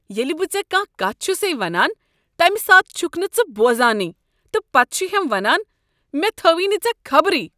ییٚلہ بہٕ ژےٚ کانٛہہ کتھ چھسے ونان تمہ ساتہٕ چھکھ نہٕ ژٕ بوزانٕے تہٕ پتہٕ چھ ہم ونان مےٚ تھٲوٕے نہٕ ژےٚ خبرٕے۔